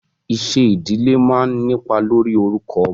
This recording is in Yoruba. Iṣẹ́ ìdílé máa ń nípa lórí orúkọ ọmọ.